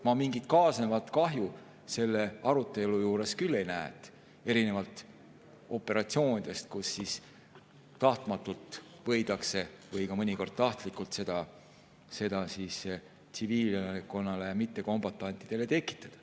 Ma mingit kaasnevat kahju selle arutelu juures küll ei näe, erinevalt operatsioonidest, kus tahtmatult või mõnikord ka tahtlikult võidakse seda tsiviilelanikkonnale ja mittekombatantidele tekitada.